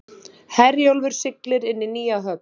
Herjólfur siglir inn í nýja höfn